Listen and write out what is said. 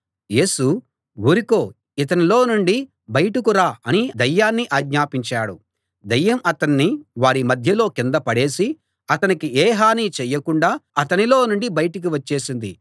యేసు ఊరుకో ఇతనిలో నుండి బయటకు రా అని దయ్యాన్ని ఆజ్ఞాపించాడు దయ్యం అతణ్ణి వారి మధ్యలో కింద పడేసి అతనికి ఏ హానీ చేయకుండా అతనిలో నుండి బయటికి వచ్చేసింది